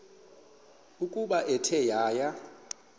ukuba ithe yaya